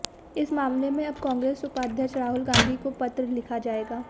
इस मामले में अब कांग्रेस उपाध्यक्ष राहुल गांधी को पत्र लिखा जाएगा